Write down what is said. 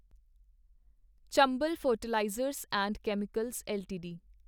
Chambal fertilisers and chemicals LTD